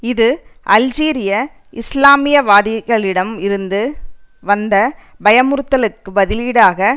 இது அல்ஜீரிய இஸ்லாமியவாதிகளிடம் இருந்து வந்த பயமுறுத்தலுக்கு பதிலீடாக